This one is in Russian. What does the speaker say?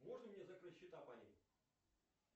можно мне закрыть счета по ним